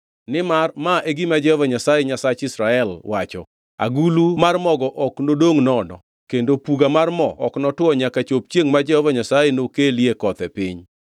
Nimar ma e gima Jehova Nyasaye Nyasach Israel wacho, ‘Agulu mar mogo ok nodongʼ nono kendo puga mar mo ok notwo nyaka chop chiengʼ ma Jehova Nyasaye nokelie koth, e piny.’ ”